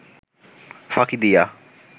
ফাঁকি দিয়া